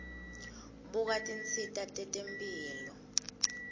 buka tinsita tetemphilo